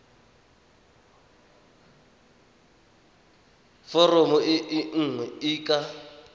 foromo e nngwe e ka